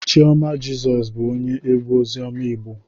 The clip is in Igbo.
Chioma Jesus bu onye egwu ozioma Igbo